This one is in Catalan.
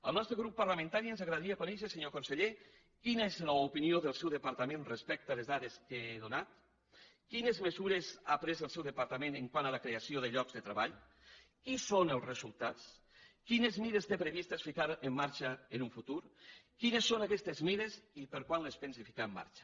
al nostre grup parlamentari ens agradaria conèixer senyor conseller quina és l’opinió del seu departament respecte a les dades que he donat quines mesures ha pres el seu departament quant a la creació de llocs de treball quins en són els resultats quines mesures té previstes ficar en marxa en el futur quines són aquestes mesures i quan les pensa fincar en marxa